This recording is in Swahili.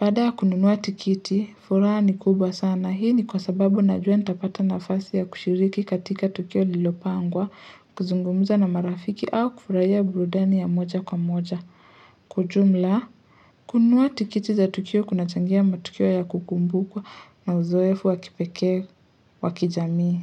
Baada ya kununua tikiti, furaha ni kubwa sana. Hii ni kwa sababu najua nitapata nafasi ya kushiriki katika tukio liliopangwa, kuzungumza na marafiki au kufurahia burudani ya moja kwa moja. Kwa ujumla, kununua tikiti za tukio kunachangia matukio ya kukumbukwa na uzoefu wa kipekee wa kijamii.